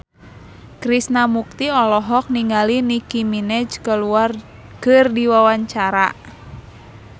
Krishna Mukti olohok ningali Nicky Minaj keur diwawancara